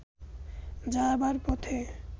যাবার পথে